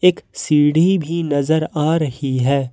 एक सीढ़ी भी नजर आ रही है।